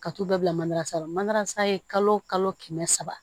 Ka t'u bɛɛ bila manansan na mandarasan ye kalo o kalo kɛmɛ saba